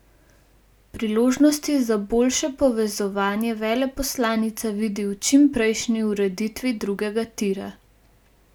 Priložnosti za boljše povezovanje veleposlanica vidi v čim prejšnji ureditvi drugega tira.